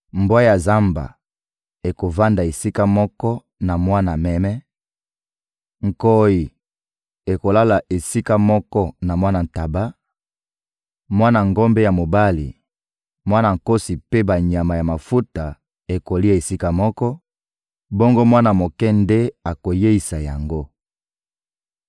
Mbwa ya zamba ekovanda esika moko na mwana meme, nkoyi ekolala esika moko na mwana ntaba; mwana ngombe ya mobali, mwana nkosi mpe banyama ya mafuta ekolia esika moko, bongo mwana moke nde akoyeisa yango.